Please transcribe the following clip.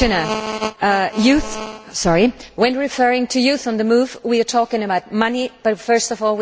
Mr President, when referring to Youth on the Move, we are talking about money, but first of all we are talking about the future.